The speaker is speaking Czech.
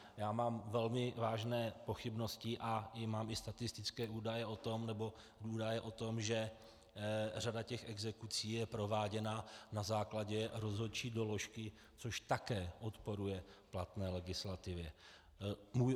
Já mám velmi vážné pochybnosti a mám i statistické údaje o tom, že řada těch exekucí je prováděna na základě rozhodčí doložky, což také odporuje platné legislativě.